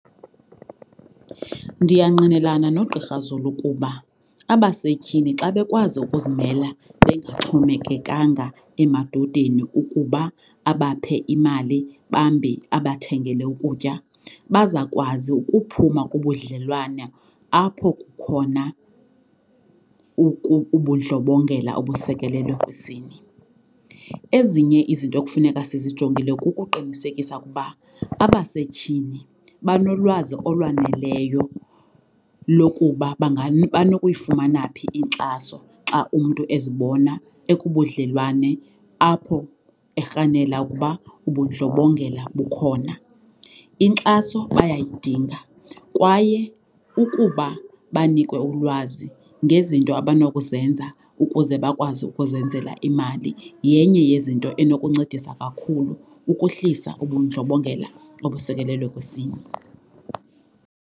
Ndiyangqinelana noGqi Zulu kuba abasetyhini xa bekwazi ukuzimela bengaxhomekekanga emadodeni ukuba abaphe imali bambi abathengele ukutya bazakwazi ukuphuma kubudlelwane apho kukhona ubundlobongela obusekelwe kwisini. Ezinye izinto ekufuneka sizijongile kukuqinisekisa ukuba abasetyhini banolwazi olwaneleyo lokuba banokuyifumana phi inkxaso xa umntu ezibona ekubudlelwane apho erhanela ukuba ubundlobongela bukhona. Inkxaso bayayidinga kwaye ukuba banikwe ulwazi ngezinto abanokuzenza ukuze bakwazi ukuzenzela imali yenye yezinto enokuncedisa kakhulu ukuhlisa ubundlobongela obusekelwe kwisini.